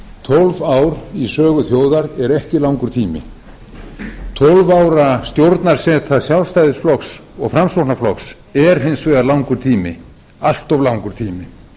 tólf ár í sögu þjóðar eru ekki langur tími tólf ára stjórnarseta sjálfstæðisflokks og framsóknarflokks er hins vegar langur tími allt of langur tími